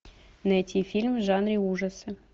найти фильм в жанре ужасы